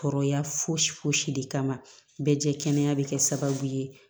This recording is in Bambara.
Kɔrɔya fosi foyisi de kama bɛɛ jɛkana bɛ kɛ sababu ye